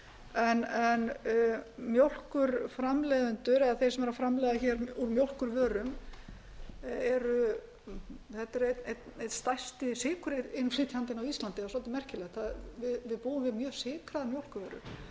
en mjólkurframleiðendur eða þeir sem eru að framleiða úr mjólkurvörum þetta er einn stærsti sykurinnflytjandinn á íslandi það er svolítið merkilegt við búum við mjög sykraða mjólkurvöru